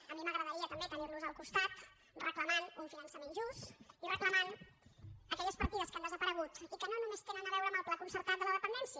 a mi m’agradaria també tenir los al costat reclamant un finançament just i reclamant aquelles partides que han desaparegut i que no només tenen a veure amb el pla concertat de la dependència